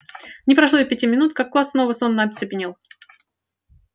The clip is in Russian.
не прошло и пяти минут как класс снова сонно оцепенел